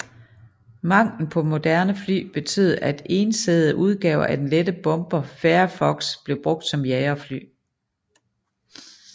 Manglen på moderne fly betød at ensædede udgaver af den lette bomber Fairey Fox blev brugt som jagerfly